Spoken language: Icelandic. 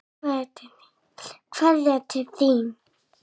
Kveðja til þín.